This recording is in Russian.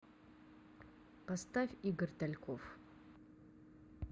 поставь игорь тальков